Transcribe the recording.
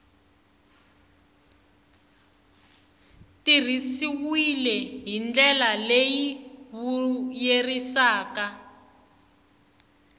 tirhisiwile hi ndlela leyi vuyerisaka